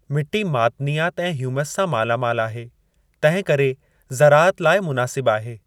मिटी मादनियात ऐं ह्यूमस सां माला मालु आहे, तंहिंकरे ज़राअत लाई मुनासिब आहे।